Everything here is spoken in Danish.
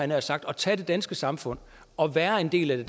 nær sagt at tage det danske samfund og være en del af det